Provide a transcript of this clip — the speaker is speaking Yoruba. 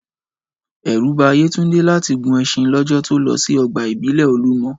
Ẹ̀rù ba Yétúndé láti gun ẹṣin lọ́jọ́ to lọ sí ọgbà ìbílẹ̀ Olúmọ